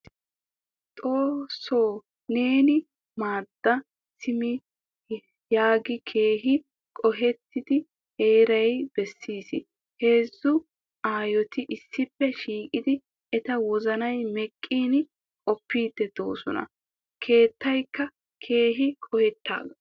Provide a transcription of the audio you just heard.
Xoosso neeni maadda simi hagee keehin qohettida heeraa besees. Heezzu Aayotti issippe shiiqidi eta wozanay meqqin qoppidi deosona. Keettaykka keehin qohettaga.